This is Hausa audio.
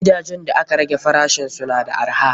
Gidajen da aka rage farashisu na da arha.